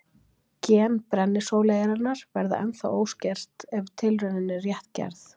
gen brennisóleyjarinnar verða ennþá óskert ef tilraunin er rétt gerð